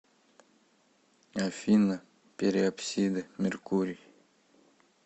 афина периапсида меркурий